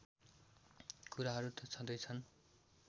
कुराहरू त छँदैछन्